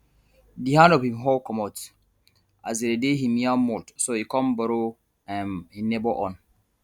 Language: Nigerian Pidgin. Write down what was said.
di hand of hin hoe comot as e dey hin yam mould so e come borrow um hin neighbour own